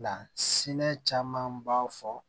Lasinɛ caman b'a fɔ